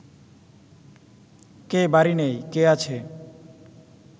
কে বাড়ি নেই, কে আছে